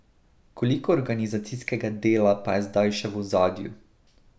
Koliko organizacijskega dela pa je zdaj še v ozadju?